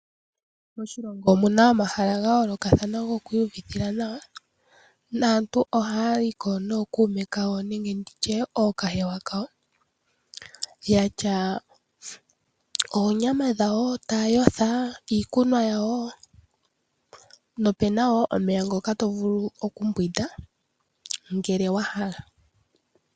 Moshilongo omuna omahala ga yoolokathana gokwiiyuvithila nawa, naantu ohaya yiko nookuume kawo nenge nditye nookahewa kayo, yatya oonyama dhawo taya yotha, iikunwa yawo nopena wo omeya ngoka to vulu okumbwinda ngele wa hala.